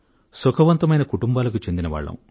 సుఖవంతమైన కుటుంబాలకు చెందినవాళ్ళం